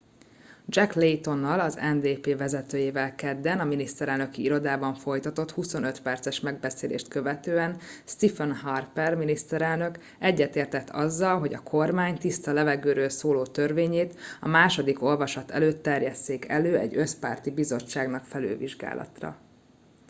jack laytonnal az ndp vezetőjével kedden a miniszterelnöki irodában folytatott 25 perces megbeszélést követően stephen harper miniszterelnök egyetértett azzal hogy a kormány tiszta levegőről szóló törvényét a második olvasat előtt terjesszék elő egy összpárti bizottságnak felülvizsgálatra